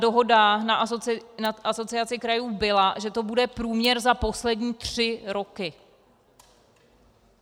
Dohoda na Asociaci krajů byla, že to bude průměr za poslední tři roky.